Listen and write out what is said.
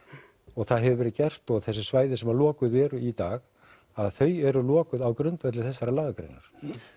og það hefur verið gert og þessi svæði sem að lokuð eru í dag þau eru lokuð á grundvelli þessarar lagagreinar